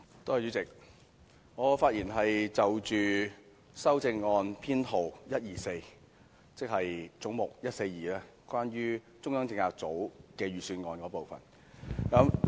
主席，我會就修正案編號 124， 即總目 142， 關於中央政策組的全年預算運作開支發言。